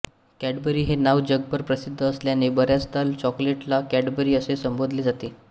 Cadbury हे नाव जगभर प्रसिद्ध असल्याने बऱ्याचदा चॉकलेटला कॅडबरी असे संबोधले जाते